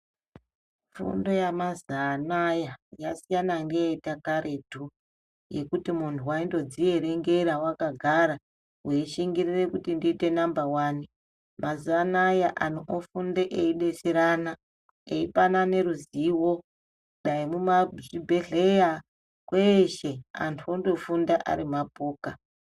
Fundo yamazaanaya yasiyana ngeyekaretu, yekuti muntu waindodzierengera akagara ,weishingirire kuti ndiite namba wani. Mazuwa anaya anhu ofunde eidetserana, eipanane ruzivo, dai mumazvibhedhleya, kweeshe antu ondofunda ari mapoka.